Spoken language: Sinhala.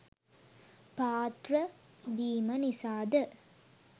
පාත්‍ර පිදීම නිසාද